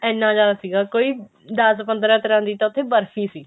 ਇੰਨਾ ਜਿਆਦਾ ਸੀਗਾ ਕੋਈ ਦਸ ਪੰਦਰਾ ਤਰ੍ਹਾਂ ਦੀ ਤਾਂ ਉੱਥੇ ਬਰਫੀ ਸੀ